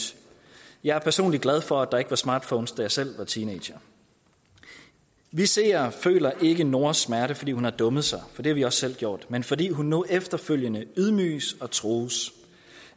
jeg er personligt glad for at der ikke var smartphones da jeg selv var teenager vi ser og føler ikke nooras smerte fordi hun har dummet sig for det har vi også selv gjort men fordi hun nu efterfølgende ydmyges og trues